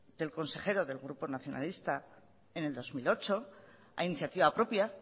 del consejero del grupo nacionalista en el dos mil ocho a iniciativa propia